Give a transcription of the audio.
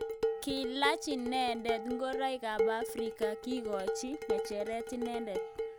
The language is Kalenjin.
Kilach inendet ngoroik ab Afrika kikochin ngecheret inendet.